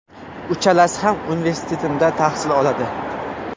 Uchalasi ham universitetimda tahsil oladi.